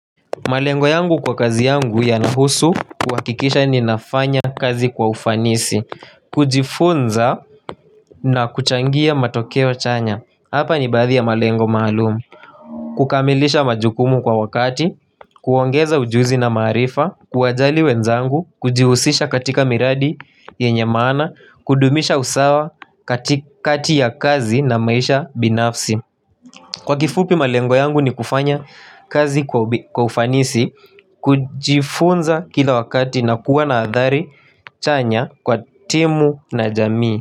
Malengo yangu kwa kazi yangu yanahusu kuhakikisha ninafanya kazi kwa ufanisi kujifunza na kuchangia matokeo wa chanya Hapa ni baadhi ya malengo maalumu kukamilisha majukumu kwa wakati kuongeza ujuzi na marifa kuwajali wenzangu kujihusisha katika miradi yenye maana kudumisha usawa katikakati ya kazi na maisha binafsi Kwa kifupi malengo yangu ni kufanya kazi kwa ufanisi kujifunza kila wakati na kuwa na adhari chanya kwa timu na jamii.